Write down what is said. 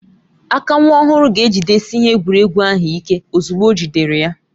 Aka nwa ọhụrụ ga-ejidesi ihe egwuregwu ahụ ike ozugbo ojidere ya